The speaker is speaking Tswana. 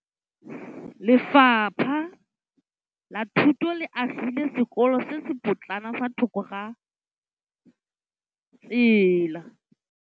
Lefapha la Thuto le agile sekôlô se se pôtlana fa thoko ga tsela.